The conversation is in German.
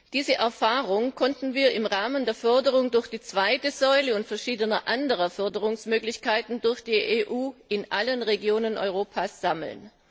Diese Erfahrung konnten wir im Rahmen der Förderung durch die zweite Säule und verschiedener anderer Förderungsmöglichkeiten durch die EU in allen Regionen Europas sammeln.